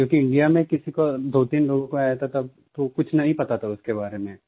क्योंकि इंडिया में किसी को दोतीन लोगों को आया था तो कुछ नहीं पता था उसके बारे में